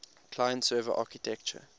client server architecture